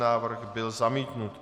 Návrh byl zamítnut.